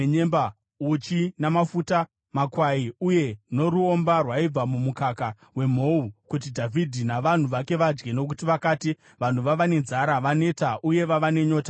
uchi namafuta, makwai uye noruomba rwaibva mumukaka wemhou, kuti Dhavhidhi navanhu vake vadye. Nokuti vakati, “Vanhu vava nenzara, vaneta uye vava nenyota murenje.”